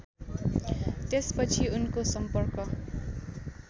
त्यसपछि उनको सम्पर्क